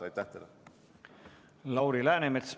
Lauri Läänemets, palun!